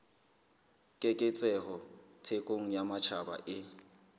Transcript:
keketseho thekong ya matjhaba e